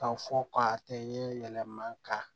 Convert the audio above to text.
Ka fɔ k'a tɛ ye yɛlɛma ka